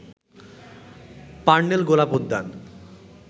Parnell গোলাপ উদ্যান